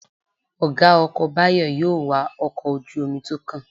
Ọ̀gá ọkọ̀ Báyọ̀ yóò wa ọkọ̀ ojú-omi tó kàn